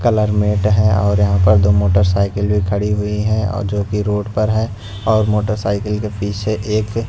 colour matte है और यहां पर दो मोटरसाइकल भी खड़ी हुई हैं और जो कि रोड पर है और मोटरसाइकिल के पीछे एक--